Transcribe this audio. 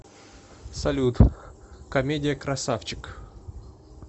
салют комедия красавчик